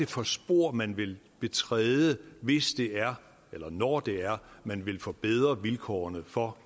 for et spor man vil betræde hvis det er eller når det er man vil forbedre vilkårene for